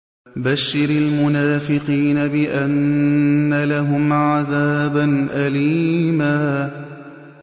بَشِّرِ الْمُنَافِقِينَ بِأَنَّ لَهُمْ عَذَابًا أَلِيمًا